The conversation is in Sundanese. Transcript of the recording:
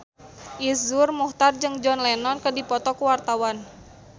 Iszur Muchtar jeung John Lennon keur dipoto ku wartawan